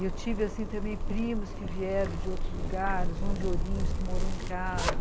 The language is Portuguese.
E eu tive, assim, também primos que vieram de outros lugares, um de Ourinhos que morou em casa.